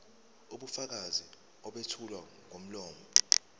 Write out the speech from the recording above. ubufakazi obethulwa ngomlomo